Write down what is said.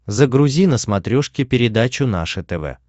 загрузи на смотрешке передачу наше тв